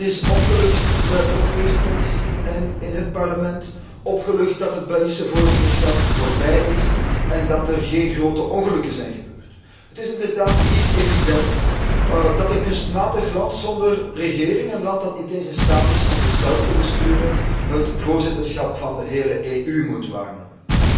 Men is opgelucht in de Europese Commissie en in het Parlement dat het Belgisch voorzitterschap voorbij is en dat er geen grote ongelukken zijn gebeurd. Het is inderdaad niet evident dat een kunstmatig land zonder regering, een land dat niet eens in staat is om zichzelf te besturen, het voorzitterschap van de hele EU moet waarnemen.